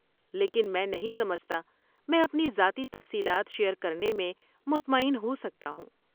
لیکن میں نہیں سمجھتا میں اپنی ذاتی تفصیلات شیر کرنے میں مطمئن ہو سکتا ہوں۔